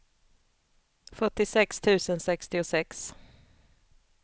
fyrtiosex tusen sextiosex